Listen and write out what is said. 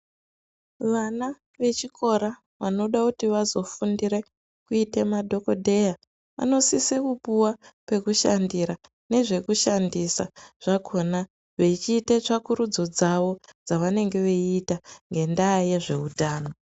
Vana vechikora vanoda kuti vazofundire kuita madhokodheya vanosise kupuwa pekushandira nezve kushandisa zvakhona vechiita tsvakurudzo dzavo, dzavanenge veita ngendaa yezveutano.